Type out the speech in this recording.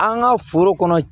An ka foro kɔnɔ